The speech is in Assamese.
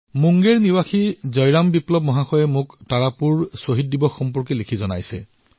মুংগেৰ নিবাসী জয়ৰাম বিপ্লৱজীয়ে মোলৈ তাৰাপুৰ শ্বহীদ দিৱসৰ বিষয়ে লিখিছে